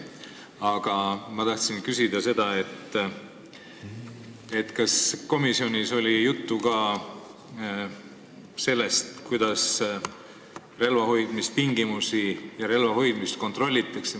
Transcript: Aga ma tahtsin küsida, kas komisjonis oli juttu ka sellest, kuidas relvade hoidmise tingimusi ja relvade hoidmist kontrollitakse.